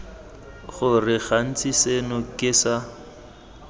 gore gantsi seno ke sa